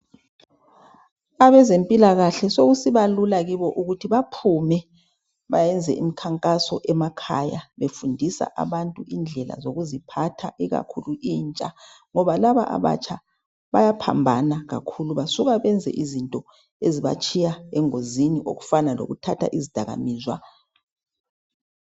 Abezempilakahle sekusiba lula kibo ukuthi baphume, bayenze imikhankaso emakhaya befundisa abantu indlela zokuziphatha ikakhulu intsha ngoba laba abatsha bayaphambana kakhulu basuka benze izinto ezibatshiya engozini okufana lokuthatha izidakamizwa.